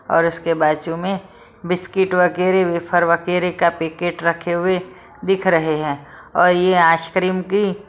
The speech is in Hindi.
और उसके बाजू में बिस्किट वगैरह वेफर वगैरह का पैकेट रखे हुए दिख रहे है और यह आइसक्रीम की---